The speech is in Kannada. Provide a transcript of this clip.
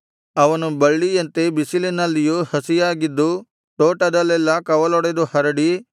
ಅವನು ಬಳ್ಳಿಯಂತೆ ಬಿಸಿಲಿನಲ್ಲಿಯೂ ಹಸಿಯಾಗಿದ್ದು ತೋಟದಲ್ಲೆಲ್ಲಾ ಕವಲೊಡೆದು ಹರಡಿ